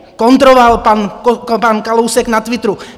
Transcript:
kontroval pan Kalousek na Twitteru.